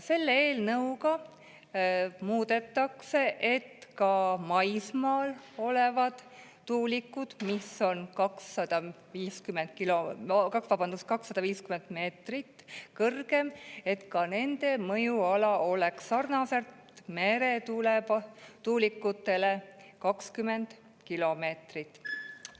Selle eelnõuga muudetakse, et ka maismaal olevate, 250 meetrit kõrgete tuulikute mõjuala oleks sarnaselt meretuulikute omaga 20 kilomeetrit.